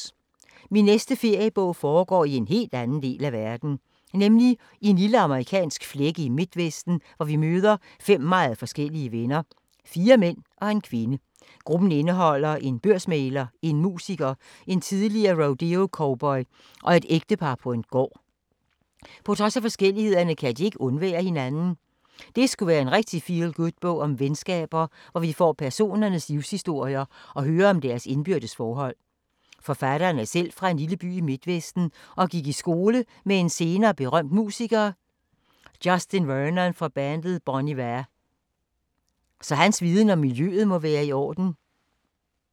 Min næste feriebog foregår i en helt anden del af verden. Nemlig i en lille amerikansk flække i midtvesten, hvor vi møder fem meget forskellige venner, fire mænd og en kvinde. Gruppen indeholder en børsmægler, en musiker, en tidligere rodeocowboy og et ægtepar med en gård. På trods af forskelligheder kan de ikke undvære hinanden. Det skulle være en rigtig feel-good bog om venskaber, hvor vi får personernes livshistorier og hører om deres indbyrdes forhold. Forfatteren er selv fra en lille by i midtvesten og gik i skole med en senere berømt musiker, Justin Vernon fra bandet Bon Iver. Så hans viden om miljøet må være i orden.